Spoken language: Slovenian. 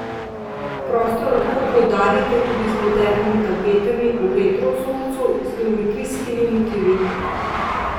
Prostor lahko poudarite tudi z modernimi tapetami v retro vzorcu z geometrijskimi motivi.